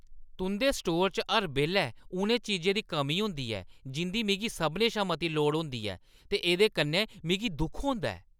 तुंʼदे स्टोरै च हर बेल्लै उ'नें चीजें दी कमी होंदी ऐ जिंʼदी मिगी सभनें शा मती लोड़ होंदी ऐ ते एह्दे कन्नै मिगी दुख होंदा ऐ।